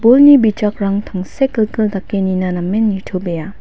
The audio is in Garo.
bolni bijakrang tangsekgilgil dake nina namen nitobea.